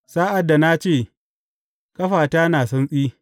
Sa’ad da na ce, Ƙafata na santsi,